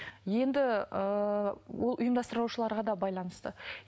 енді ыыы ол ұйымдастырушыларға да байланысты